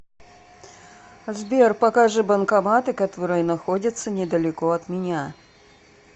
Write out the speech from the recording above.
сбер покажи банкоматы которые находятся недалеко от меня